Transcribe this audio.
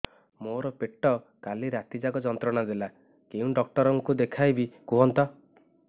ମୋର ପେଟ କାଲି ରାତି ଯାକ ଯନ୍ତ୍ରଣା ଦେଲା କେଉଁ ଡକ୍ଟର ଙ୍କୁ ଦେଖାଇବି କୁହନ୍ତ